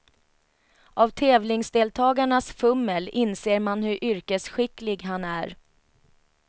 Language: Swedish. Av tävlingsdeltagarnas fummel inser man hur yrkesskicklig han är.